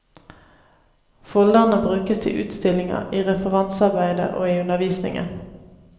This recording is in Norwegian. Folderne brukes til utstillinger, i referansearbeidet og i undervisningen.